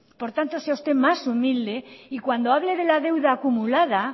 por tanto sea usted más humilde y cuando hable de la deuda acumulada